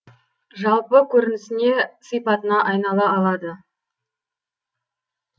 жалпы көрінісіне сипатына айнала алады